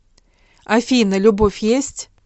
афина любовь есть